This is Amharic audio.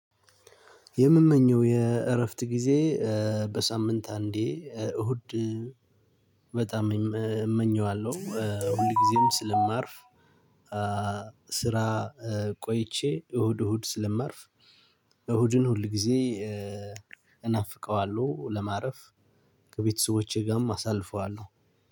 የምመኛው የእራፍት ግዜ በሳምንት እንዴ እሁድ በጣም እመኘዋለሁ ሁል ጊዜም ስለማርፍ። ስራ ቆይቼ እሁድ እሁድ ስለምርፍ እሁድን ሁል ጊዜ እናፍቀዋለሁ። ለማረፍ ከቤተሰቦቼ ጋርም አሳልፈዋለሁ።